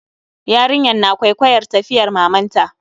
Yarinyar na kwaikwayar tafiyar mamanta